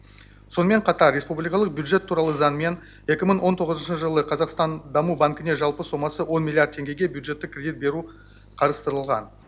сонымен қатар республикалық бюджет туралы заңмен екі мың он тоғызыншы жылы қазақстан даму банкіне жалпы сомасы он миллиард теңгеге бюджеттік кредит беру қарастырылған